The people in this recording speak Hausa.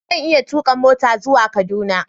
Zan iya tuka mota zuwa Kaduna